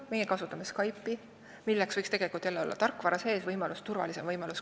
Meie kasutame Skype'i, tegelikult võiks muidugi olla tarkvara sees turvalisem võimalus.